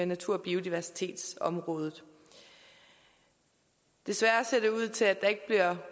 natur og biodiversitetsområdet desværre ser det ikke ud til at der